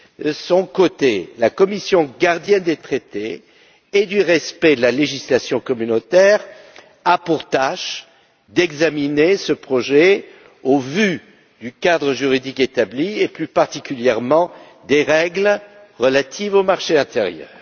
De son côté, la Commission, gardienne des traités et du respect de la législation de l'Union, a pour tâche d'examiner ce projet au vu du cadre juridique établi et, plus particulièrement, des règles relatives au marché intérieur.